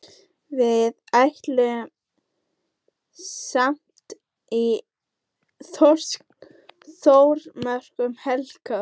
Við ætlum saman í Þórsmörk um helgina.